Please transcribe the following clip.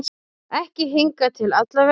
Ekki hingað til allavega.